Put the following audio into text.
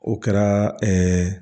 O kɛra ɛɛ